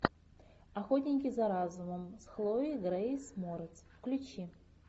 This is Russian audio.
охотники за разумом с хлоей грейс морец включи